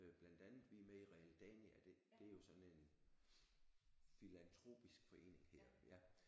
Øh blandt andet vi er med i Realdania det det er jo sådan en filantropisk forening hedder det ja